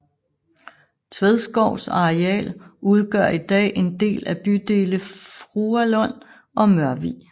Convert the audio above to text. Tvedskovs areal udgør i dag en del af bydele Fruerlund og Mørvig